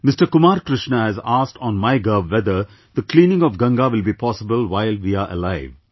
Kumar Krishna has asked on MyGov whether "the cleaning of Ganga will be possible while we our alive"